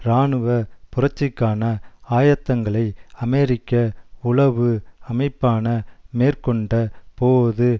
இராணுவ புரட்சிக்கான ஆயத்தங்களை அமெரிக்க உளவு அமைப்பான மேற்க்கொண்டபோது